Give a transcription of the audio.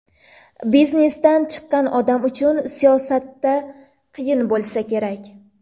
Biznesdan chiqqan odam uchun siyosatda qiyin bo‘lsa kerak?